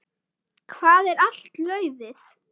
Hvar er allt laufið?